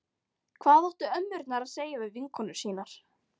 Hvað áttu ömmurnar að segja við vinkonur sínar?